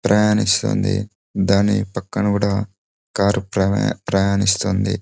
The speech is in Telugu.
ప్రయాణిస్తుంది దాని పక్కన కూడా కారు ప్రయా-ప్రయాణిస్తుంది.